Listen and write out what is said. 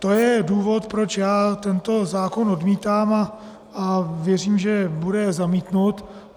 To je důvod, proč já tento zákon odmítám, a věřím, že bude zamítnut.